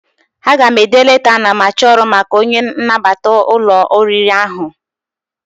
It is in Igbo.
Aga m ede leta anamachọrụ maka onye nnabata n'ụlọ oriri ahụ.